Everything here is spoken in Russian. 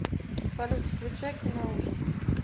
салют включай киноужас